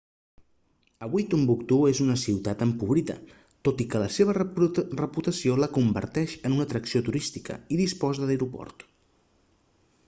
avui tombouctou és una ciutat empobrida tot i que la seva reputació la converteix en una atracció turística i disposa d'aeroport